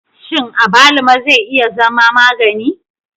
Shin abaluma zai iya zama magani?